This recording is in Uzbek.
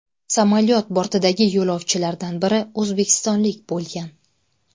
Samolyot bortidagi yo‘lovchilardan biri o‘zbekistonlik bo‘lgan .